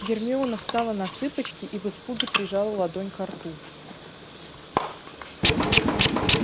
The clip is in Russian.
гермиона встала на цыпочки и в испуге прижала ладонь ко рту